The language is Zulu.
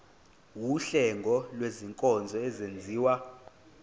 wuhlengo lwezinkonzo ezenziwa